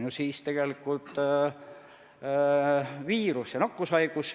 Lugupeetud regionaalminister Jaak Aab!